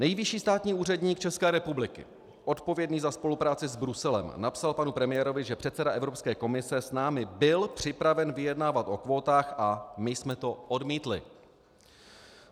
Nejvyšší státní úředník České republiky odpovědný za spolupráci s Bruselem napsal panu premiérovi, že předseda Evropské komise s námi byl připraven vyjednávat o kvótách a my jsme to odmítli.